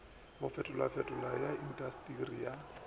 go fetofetoga ga intasteri ya